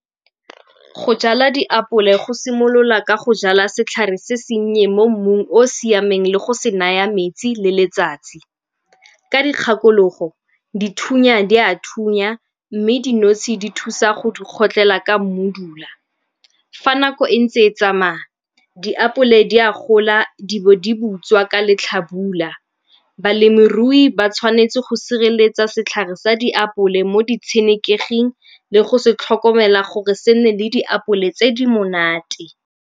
Go jala diapole go simolola ka go jala setlhare se sennye mo mmung o o siameng le go se naya metsi le letsatsi. Ka dikgakologo, dithunya di a thunya mme dinotshe di thusa go di kgotlhela ka mmodula. Fa nako e ntse e tsamaya, diapole di a gola di bo di butswa ka letlhabula. Balemirui ba tshwanetse go sireletsa setlhare sa diapole mo di tshenekeging le go se tlhokomela gore se nne le diapole tse di monate.